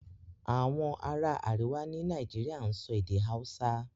Àwọn ará àríwá ní Nàìjíríà ń sọ èdè Hausa